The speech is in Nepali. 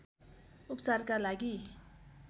उपचारका लागि